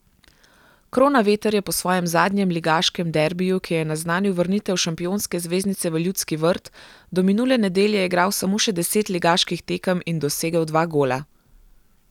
Kronaveter je po svojem zadnjem ligaškem derbiju, ki je naznanil vrnitev šampionske zvezdice v Ljudski vrt, do minule nedelje igral samo še deset ligaških tekem in dosegel dva gola.